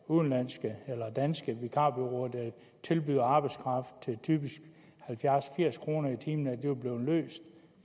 udenlandske eller danske vikarbureauer der tilbyder arbejdskraft til typisk halvfjerds firs kroner i timen vil blive løst